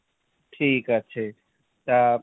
ঠিকাছে। তা,